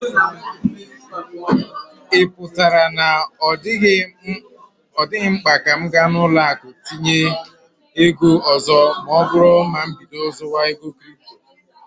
Ị pụtara na ọ dịghị mkpa ka m ga ụlọ akụ iji tinye ego ọzọ ma oburu na mbido zuwa ego kripto